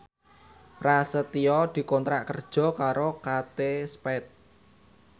Prasetyo dikontrak kerja karo Kate Spade